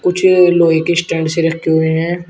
कुछ लोहे के स्टैंड से रखे हुए हैं।